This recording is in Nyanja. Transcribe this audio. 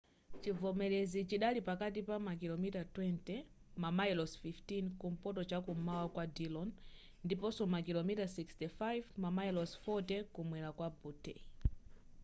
chivomerezi chidali pakatikati pa makilomita 20 mamayilosi 15 kumpoto chamkum'mawa kwa dillon ndiponso makilomita 65 mamayilosi 40 kumwera kwa butte